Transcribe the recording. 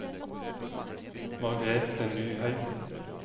Margrethe Nyheim